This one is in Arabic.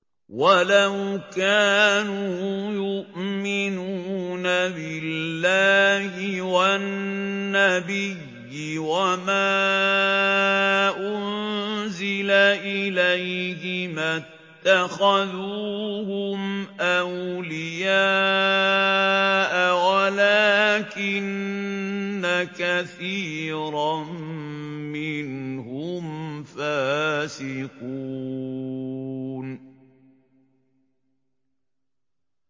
وَلَوْ كَانُوا يُؤْمِنُونَ بِاللَّهِ وَالنَّبِيِّ وَمَا أُنزِلَ إِلَيْهِ مَا اتَّخَذُوهُمْ أَوْلِيَاءَ وَلَٰكِنَّ كَثِيرًا مِّنْهُمْ فَاسِقُونَ